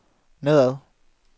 nedad